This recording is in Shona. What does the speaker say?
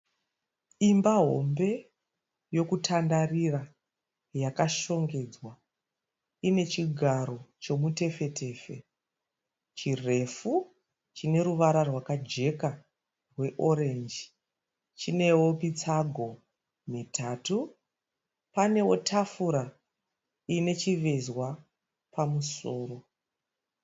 Imba hombe yokutandarira yakashongedzwa. Ine chigaro chomutefetefe chirefu chine ruvara rwakajeka rweorenji. Chinewo mitsago mitatu. Panewo tafura ine chivezwa pamusoro.